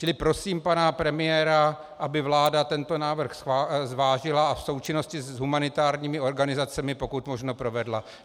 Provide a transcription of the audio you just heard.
Čili prosím pana premiéra, aby vláda tento návrh zvážila a v součinnosti s humanitárními organizacemi pokud možno provedla.